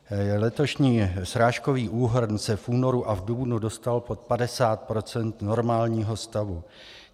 Letošní srážkový úhrn se v únoru a v dubnu dostal pod 50 % normálního stavu.